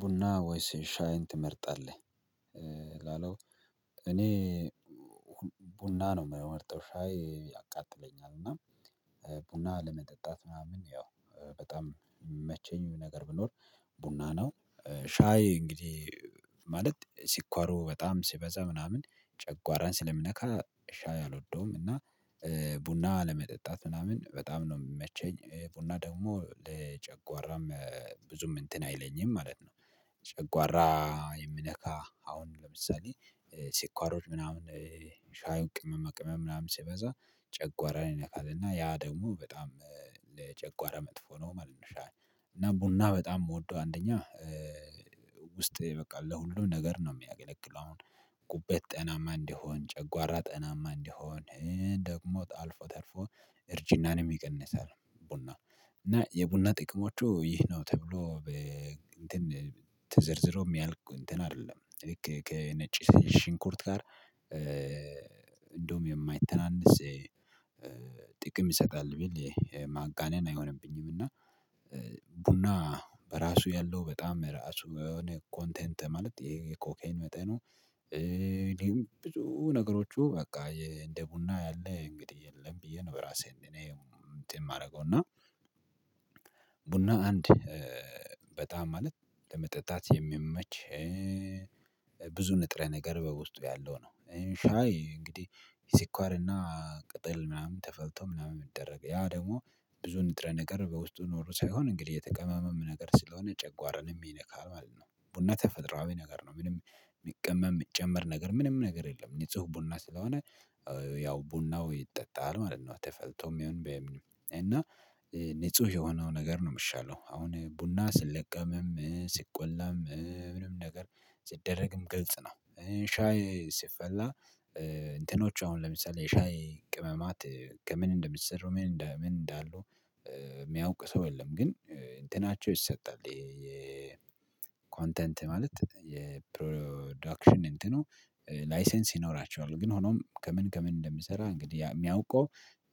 ቡና ወይስ ሻይን ትመርጣለህ? ላለው እኔ ቡና ነው የምመርጠው ሻይ ያቃጥለኛል እና ቡና ለመጠጣት ምናምን ያው በጣም የሚመቸኝ ነገር ቢኖር ቡና ነው ሻይ እንግዲህ ማለት ስኳሩ በጣም ሲበዛ ምናምን ጨጓራን ስለሚነካ ሻይ አልወደውም እና ቡና መጠጣት ምናምን በጣም ነው የሚመቸኝ ቡና ደግሞ ለጨጓራም ብዙም እንትን አይለኝም ማለት ነው። ጨጓራ የሚነካ አሁን ለምሳሌ ስኳሮች ምናምን ሻዪው ቅመማ ቅመመ ምናምን ሲበዛ ጨጓራ ይነካል እና ያ ደግሞ በጣም ለጨጓራ መጥፎ ነው ማለት ነው። ሻዪ ቡና በጣም የምወደው አንደኛ ውስጥ በቃ ለሁሉም ነገር ነው የሚያገለግለው አሁን ጉበት ጤናማ እንዲሆን ጨጓራ ጤናማ እንዲሆን ደግሞ አልፎ ተርፎ እርጅናንም ይቀንሳል ቡና እና የቡና ጥቅሞቹ ይህ ነው ተብሎ እንትን ተዘርዝሮ ሚያልቅ እንትን አይደለም ልክ ከነጭ ሽንኩርት ጋር እንደውም የማይተናነስ ጥቅም ይሰጣል ብል ማጋነን አይሆንብኝም። እና ቡና በራሱ ያለው በጣም ራሱ የሆነ ኮንቴንት ማለት የኮኬን መጠኑ እኔም ብዙ ነገሮቹ በቃ እንደ ቡና ያለ እንግዲህ የለም ብዬ ነው በራሴ እኔ እንትን የማደርገው እና ቡና አንድ በጣም ማለት ለመጠጣት የሚመች ብዙ ንጥረ ነገር በውስጡ ያለው ነው። ሻዪ እንግዲህ ስኳርና ቅጠል ምናምን ተፈልቶ ምናምን የሚደረገው ያ ደግሞ ብዙ ንጥረ ነገር በውስጡ ኖሮ ሳይሆን እንግዲህ የተቀመመም ነገር ስለሆነ ጨጓራን የሚነካው ማለት ነው። ቡና ተፈጥሮአዊ ነገር ነው ምንም የሚቀመም የሚጨምር ነገር ምንም ነገር የለም ንጹህ ቡና ስለሆነ ያው ቡናው ይጠጣል ማለት ነው። ተፈልቶም ይሁን በምንም ንጹህ የሆነው ነገር ነው የሚሻለው አሁን ቡና ሲለቀምም ሲቆላም ምንም ነገር ሲደረግም ግልጽ ነው። ሻይ ሲፈላ እንትኖቹ አሁን ለምሳሌ ሻይ ቅመማት ከምን እንደሚሰሩ ምን እንደ ምን እንዳሉ የሚያውቅ ሰው የለም። ግን እንትናቸው ይሰጣል የኮንተንት ማለት የፕሮዳክሽን እንትኑ ላይሰንስ ይኖራቸዋል ግን ሆኖም ከምን ከምን እንደሚሰራ እንግዲህ የሚያውቀው